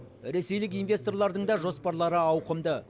ресейлік инвесторлардың да жоспарлары ауқымды